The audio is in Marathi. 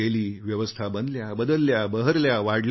व्यवस्था बनल्या बदलल्या बहरल्या वाढल्या